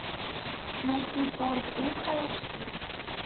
найти торт ультра эйч ди